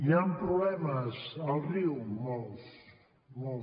hi han problemes al riu molts molts